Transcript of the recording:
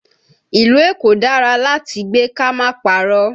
Ìlú Èkó dára láti gbé ká má parọ́.